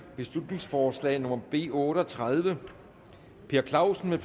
beslutningsforslag nummer b otte og tredive per clausen